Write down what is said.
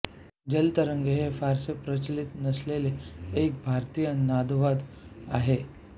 जलतरंग हे फारसे प्रचलित नसलेले एक भारतीय नादवाद्य आहे